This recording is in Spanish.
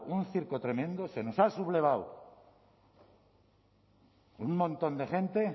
un circo tremendo se nos ha sublevado un montón de gente